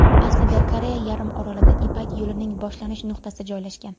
Aslida Koreya yarim orolida Ipak yo‘lining boshlanish nuqtasi joylashgan.